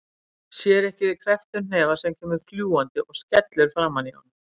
Sér ekki við krepptum hnefa sem kemur fljúgandi og skellur framan í honum.